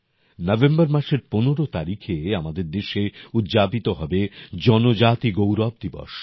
November মাসের ১৫ তারিখে আমাদের দেশে উদযাপিত হবে জনজাতি গৌরব দিবস